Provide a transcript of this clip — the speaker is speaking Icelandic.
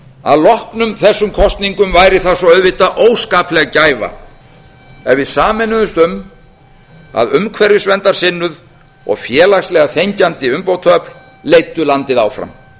að loknum þessum kosningum væri þá svo auðvitað óskapleg gæfa ef við sameinuðumst um að umhverfisverndarsinnuð og félagslega þenkjandi umbótaöfl leiddu landið áfram